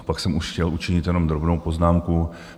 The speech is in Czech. A pak jsem už chtěl učinit jenom drobnou poznámku.